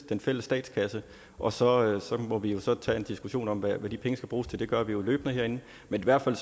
den fælles statskasse og så må vi jo så tage en diskussion om hvad de penge skal bruges til det gør vi jo løbende herinde men i hvert fald